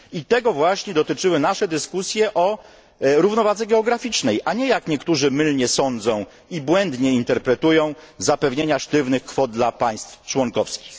I tego właśnie dotyczyły nasze dyskusje o równowadze geograficznej, a nie, jak niektórzy mylnie sądzą i błędnie interpretują, zapewnienia sztywnych kwot dla państw członkowskich.